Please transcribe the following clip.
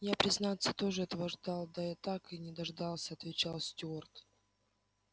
я признаться тоже этого ждал да так и не дождался отвечал стюарт